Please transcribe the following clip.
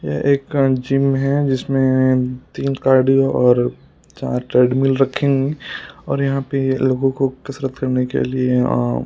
ये एक का जिम है जिसमें तीन कार्डियो और चार ट्रेडमिल रखे और यहां पे लोगों को कसरत करने के लिए अ--